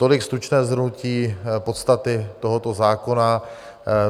Tolik stručné shrnutí podstaty tohoto zákona.